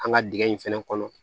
An ka dingɛ in fɛnɛ kɔnɔ